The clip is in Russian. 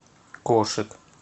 кошик